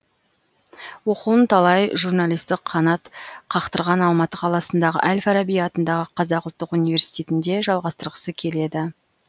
оқуын талай журналисті қанат қақтырған алматы қаласындағы әл фараби атындағы қазақ ұлтттық университетінде жалғастырғысы келеді